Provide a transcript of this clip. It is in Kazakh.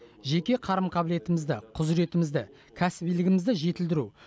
жеке қарым қабілетімізді құзыретімізді кәсібилігімізді жетілдіру